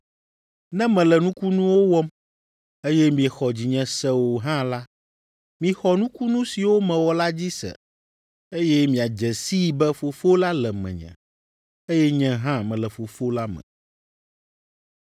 Ne mele nukunuwo wɔm, eye miexɔ dzinye se o hã la, mixɔ nukunu siwo mewɔ la dzi se, eye miadze sii be Fofo la le menye, eye nye hã mele Fofo la me.”